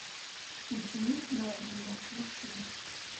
ученик мерлина включи